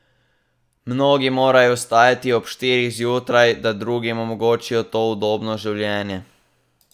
Mnogi morajo vstajati ob štirih zjutraj, da drugim omogočijo to udobno življenje.